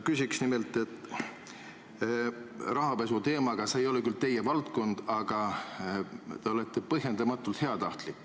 Küsin nimelt, et rahapesu teemal – see ei ole küll teie valdkond – te olete olnud põhjendamatult heatahtlik.